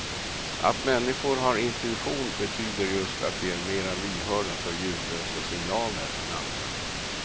Att människor har intuition betyder just att de är mera lyhörda för ljudlösa signaler än andra.